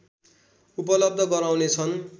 उपलब्ध गराउनेछन्